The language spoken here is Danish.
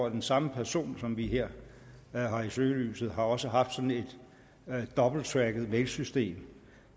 at den samme person som vi her har i søgelyset også har haft sådan et dobbeltracket mailsystem